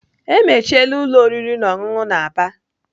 Emechiela ụlọ oriri na ọṅụṅụ na Aba.